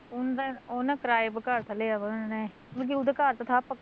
ਉਣਦਾ ਉਹ ਨਾ ਨੇ ਕਿਰਾਏ ਪਰ ਘਰ ਥਾ ਲਿਆ ਵਾ ਉਹਨਾਂ ਨੇ, ਮਤਲਬ ਕੀ ਉਦਾ ਘਰ ਤਾ ਥਾ ਪੱਕ